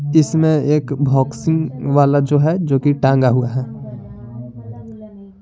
इसमें एक बॉक्सिंग वाला जो हैजो कि टांगा हुआ है।